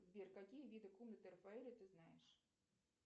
сбер какие виды комнаты рафаэля ты знаешь